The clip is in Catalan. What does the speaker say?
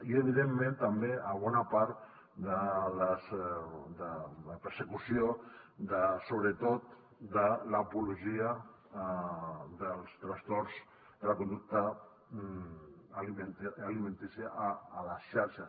i evidentment també a bona part de la persecució de sobretot l’apologia dels trastorns de la conducta alimentària a les xarxes